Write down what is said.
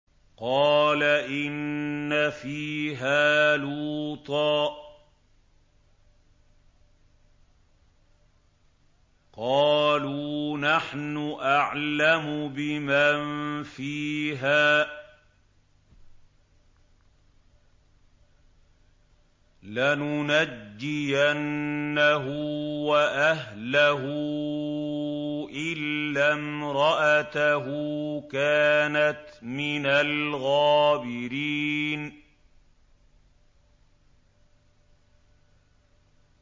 قَالَ إِنَّ فِيهَا لُوطًا ۚ قَالُوا نَحْنُ أَعْلَمُ بِمَن فِيهَا ۖ لَنُنَجِّيَنَّهُ وَأَهْلَهُ إِلَّا امْرَأَتَهُ كَانَتْ مِنَ الْغَابِرِينَ